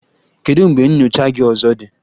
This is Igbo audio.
Kedu mgbe nyocha gị ọzọ dị?